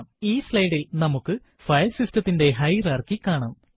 ഈ slide ൽ നമുക്ക് ഫയൽ സിസ്റ്റത്തിന്റെ ഹയറാർക്കി കാണാം